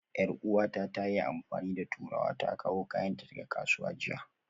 Yar'uwata ta yi amfani da turawa ta kawo kayanta daga kasuwa jiya